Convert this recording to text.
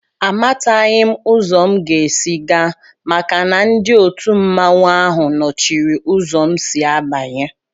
Àmátaghị m uzo m ga-ési gaa maka na ndị òtù mmanwu áhù nọchiri ụzọ m si abanye